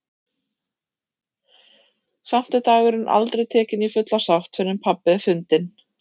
Samt er dagurinn aldrei tekinn í fulla sátt fyrr en pabbi er fundinn.